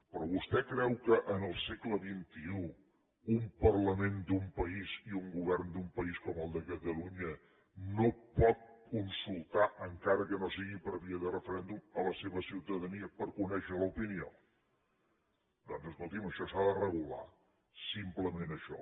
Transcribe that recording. però vostè creu que en el segle xxi un parlament d’un país i un govern d’un país com catalunya no pot consultar encara que no sigui per via de referèndum la seva ciutadania per conèixer ne l’opinió doncs escolti’m això s’ha de regular simplement això